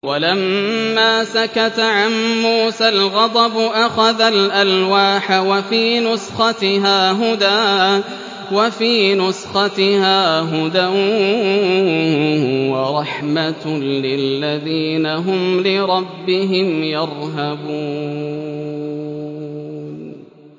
وَلَمَّا سَكَتَ عَن مُّوسَى الْغَضَبُ أَخَذَ الْأَلْوَاحَ ۖ وَفِي نُسْخَتِهَا هُدًى وَرَحْمَةٌ لِّلَّذِينَ هُمْ لِرَبِّهِمْ يَرْهَبُونَ